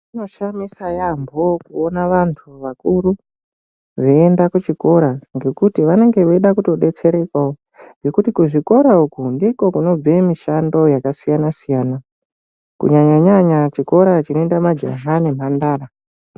Zvinoshamisa yambo kuona vantu vakuru veienda kuchikora ngekuti vanenge veida kutobetserekawo, nokuti kuzvikora uku ndiko kunobve mishando yakasiyana siyana, kunyanya nyanya chikora chinoenda majaha nemhandara.